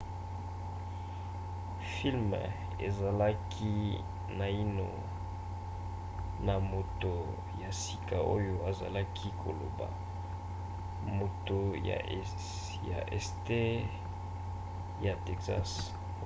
filme ezalaki naino na moto ya sika oyo azalaki koloba moto ya este ya texas